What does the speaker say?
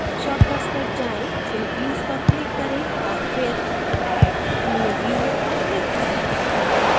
shortcuts पर जाएँ फिर views पर click करें औऱ फिर add new view पर click करें